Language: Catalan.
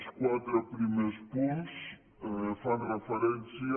els quatre primers punts fan referència